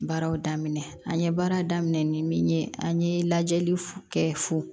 Baaraw daminɛ an ye baara daminɛ ni min ye an ye lajɛli kɛ fo